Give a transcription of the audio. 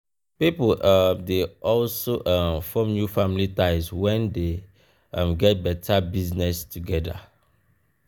pipo um de also um form new family ties when dem um get better business together